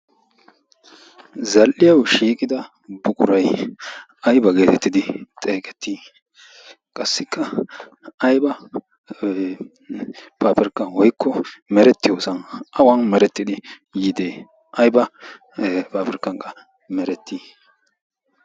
zal77iyau shiiqida buqurai aiba geetettidi xeegettii? qassikka aiba paafirkka woikko merettiyoosan awan merettidi yiidee aiba paafirkkanka merettii?